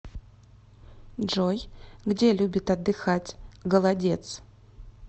джой где любит отдыхать голодец